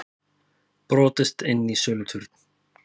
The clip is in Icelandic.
Brotist inn í söluturn